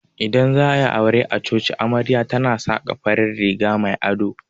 Idan za'a yi aure a coci amarya tana saka farin riga mai ado.